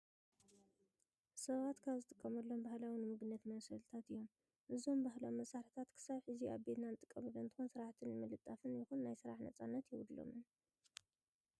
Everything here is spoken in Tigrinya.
ሰባት ካብ ዝጥቀምሎም ባህላዊ ንምግብነት መብሰልታት እዮም። እዞም ባህላዊ መሳርሕታት ክሳብ ሕዚ ኣብ ቤትና እንጥቀመሎም እንትኸውን ስራሕቲ ንምልጣፍን ይኹን ናይ ስራሕ ነፃነት የብሎምን።